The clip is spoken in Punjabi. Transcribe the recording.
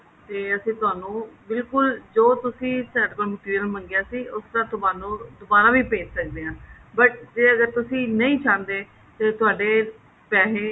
ਤੇ ਅਸੀਂ ਤੁਹਾਨੂੰ ਬਿਲਕੁੱਲ ਜੋ ਤੁਸੀਂ ਸਾਡੇ ਤੋਂ material ਮੰਗਿਆ ਸੀ ਉਸ ਤਰ੍ਹਾਂ ਤੁਹਾਨੂੰ ਦੁਬਾਰਾ ਵੀ ਭੇਜ ਸਕਦੇ ਹਾਂ but ਜੇ ਅਗਰ ਤੁਸੀਂ ਨਹੀਂ ਚਾਹੰਦੇ ਤੇ ਤੁਹਾਡੇ ਪੈਸੇ